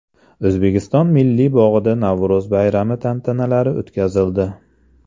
O‘zbekiston Milliy bog‘ida Navro‘z bayrami tantanalari o‘tkazildi .